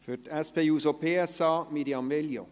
Für die SP-JUSO-PSA, Mirjam Veglio.